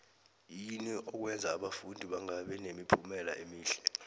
yini okwenza abafundi bangabi nemiphumela emihle